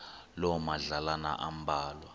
loo madlalana ambalwa